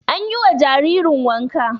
Anyi wa jaririn wanka